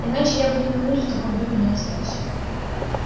иначе я бы ни на минуту в таком доме не остался